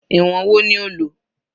Ìwọ̀n wo ni o lò?